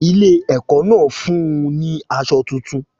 Ilé ẹ̀kọ́ náà fún un ní aṣọ tuntun.